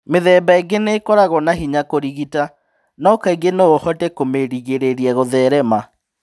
Mĩthemba ĩngĩ nĩ ĩkoragũo na hinya kũrigita, no kaingĩ no ũhote kũmĩrigĩrĩria gũtherema.